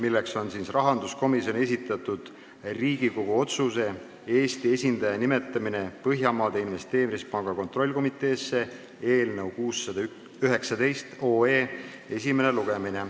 Algab rahanduskomisjoni esitatud Riigikogu otsuse "Eesti esindaja nimetamine Põhjamaade Investeerimispanga kontrollkomiteesse" eelnõu 619 esimene lugemine.